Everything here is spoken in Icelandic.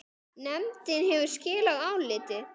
Nefndin hefur skilað áliti.